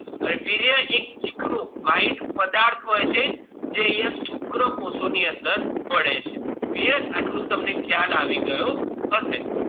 વીર્ય એક ચીકણું white પ્રવાહી જે અહિયાં શુક્રકોષો ની અંદર ફરે છે clear આટલું તમને ખ્યાલ આવી ગયો હશે